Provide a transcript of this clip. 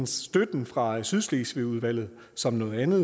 støtten fra sydslesvigudvalget som noget andet